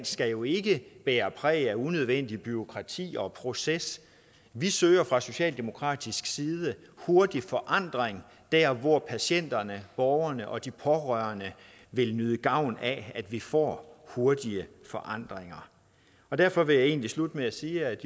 skal jo ikke bære præg af unødvendigt bureaukrati og proces vi søger fra socialdemokratisk side hurtig forandring der hvor patienterne borgerne og de pårørende vil nyde gavn af at vi får hurtige forandringer derfor vil jeg egentlig slutte med at sige at